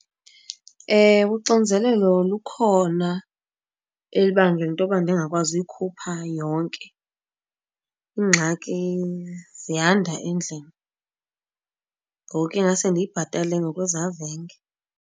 Ewe, uxinzelelo lukhona elubangela into yoba ndingakwazi uyikhupha yonke. Iingxaki ziyanda endlini, ngoku ingaske ndiyibhatale ngokwezavenge.